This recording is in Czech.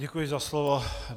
Děkuji za slovo.